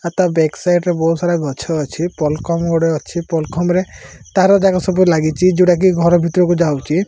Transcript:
ଆ ତା back side ରେ ବୋହୁତ୍ ସାରା ଗଛ ଅଛି। ପଲ୍ କମ୍ ଗୋଟେ ଅଛି। ପଲ୍ ଖମ୍ ରେ ତାର ଦାଗ ସବୁ ଲାଗିଚି। ଯୋଉଟାକି ଘର ଭିତ ର କୁ ଯାଉଚି।